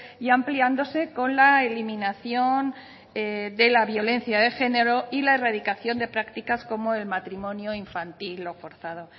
y ampliándose con la eliminación de la violencia de género y la erradicación de prácticas como el matrimonio infantil o forzado